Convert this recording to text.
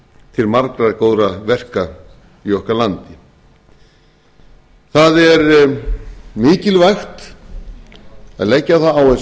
til margra góðra verka í okkar landi það er mikilvægt að leggja á það